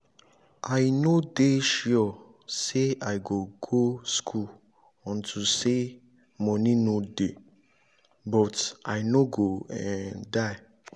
i no dey sure say i go go school unto say money no dey but i no go um die